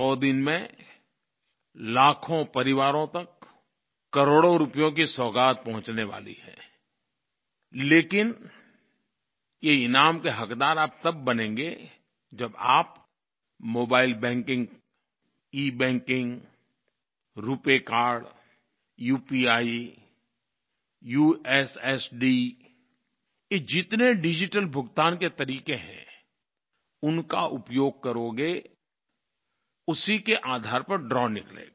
100 दिन में लाखों परिवारों तक करोड़ों रुपयों की सौगात पहुँचने वाली है लेकिन ये ईनाम के हक़दार आप तब बनेंगे जब आप mobile banking e banking RuPay card UPI USSD ये जितने डिजिटल भुगतान के तरीक़े हैं उनका उपयोग करोगे उसी के आधार पर द्रव निकलेगा